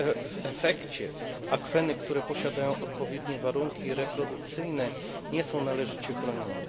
W efekcie akweny, które posiadają odpowiednie warunki reprodukcyjne, nie są należycie chronione.